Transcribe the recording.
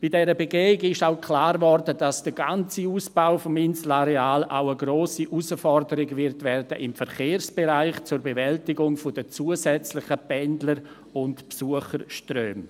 Bei dieser Begehung wurde auch klar, dass der ganze Ausbau des Inselareals auch eine grosse Herausforderung im Verkehrsbereich werden wird, zur Bewältigung der zusätzlichen Pendler- und Besucherströme.